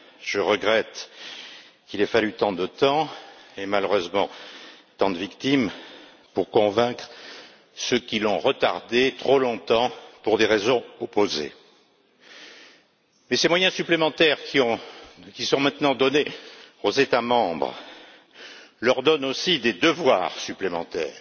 Je regrette qu'il ait fallu tant de temps et, malheureusement, tant de victimes pour convaincre ceux qui l'ont retardé trop longtemps, pour des raisons opposées. Mais ces moyens supplémentaires qui sont maintenant donnés aux États membres leur donnent aussi des devoirs supplémentaires.